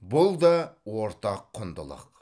бұл да ортақ құндылық